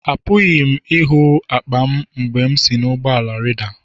Apụghị m ịhụ akpa m mgbe m si na bọs rida.